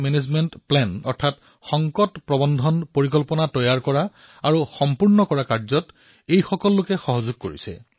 এওঁলোকে স্থানীয় পৰ্যায়ত সংকট ব্যৱস্থাপনাৰ পৰিকল্পনা প্ৰস্তুত কৰি সহায় কৰিছে